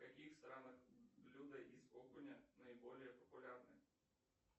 в каких странах блюда из окуня наиболее популярны